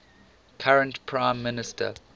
current prime minister